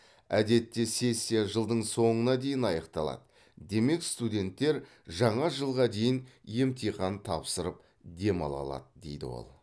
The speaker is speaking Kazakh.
әдетте сессия жылдың соңына дейін аяқталады демек студенттер жаңа жылға дейін емтихан тапсырып демала алады дейді ол